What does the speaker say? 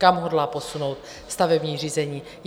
Kam hodlá posunout stavební řízení?